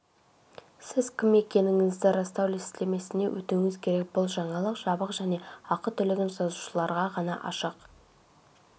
сіз кім екендігіңізді растау сілтемесіне өтуіңіз керек бұл жаңалық жабық және ақы төлеген жазылушыларға ғана ашық